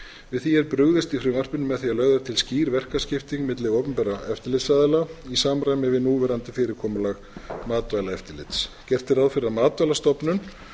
við því er brugðist í frumvarpinu með því að lögð er til skýr verkaskipting milli opinberra eftirlitsaðila í samræmi við núverandi fyrirkomulag matvælaeftirlits gert er ráð fyrir að matvælastofnun